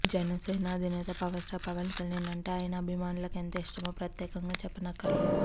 జనసేన అధినేత power star Pawan Kalyan అంటే ఆయన అభిమానులకు ఎంత ఇష్టమో ప్రత్యేకంగా చెప్పనక్కర్లేదు